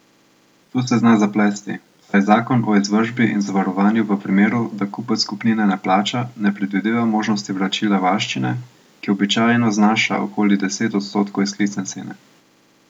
Tu se zna zaplesti, saj zakon o izvršbi in zavarovanju v primeru, da kupec kupnine ne plača, ne predvideva možnosti vračila varščine, ki običajno znaša okoli deset odstotkov izklicne cene.